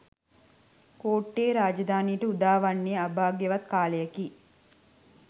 කෝට්ටේ රාජධානියට උදාවන්නේ අභාග්‍යවත් කාලයකි